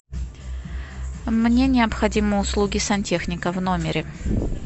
мне необходимы услуги сантехника в номере